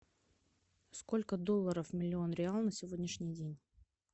сколько долларов миллион реал на сегодняшний день